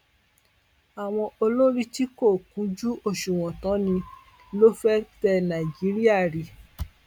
àwọn olórí tí kò kúnjú òṣùwọn táa ní ló fẹẹ tẹ nàìjíríà rí